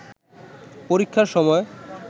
পরীক্ষার সময়